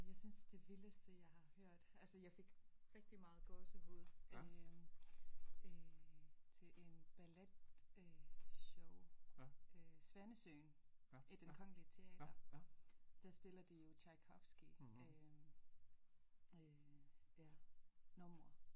Jeg synes det vildeste jeg har hørt altså jeg fik rigtig meget gåsehud øh til en ballet øh show svanesøen i den kongelig teater der spiller de jo Tchaikovsky øh numre